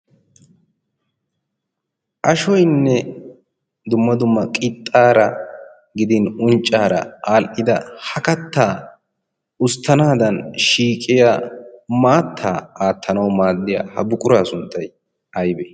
ashoynne dumma dumma qixxaara gidin unccaara aal'ida ha kattaa usttanaadan shiiqiya maattaa aattanawu maaddiya ha buquraa sunttay aybe